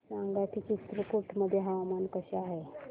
सांगा की चित्रकूट मध्ये हवामान कसे आहे